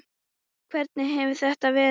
Hvernig hefur þetta verið?